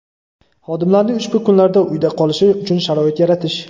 xodimlarning ushbu kunlarda uyda qolishi uchun sharoit yaratish.